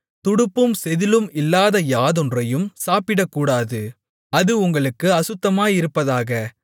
துடுப்பும் செதிளும் இல்லாத யாதொன்றையும் சாப்பிடக்கூடாது அது உங்களுக்கு அசுத்தமாயிருப்பதாக